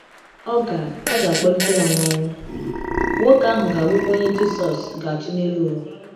Ọ ga - Ọ ga - akpọlite ya n'ọnwụ, nwoke ahụ ga - abụkwa onye Jisọs ga - achị n’elu ụwa.